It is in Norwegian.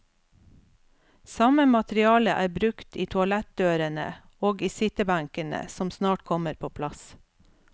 Samme materiale er brukt i toalettdørene og i sittebenkene som snart kommer på plass.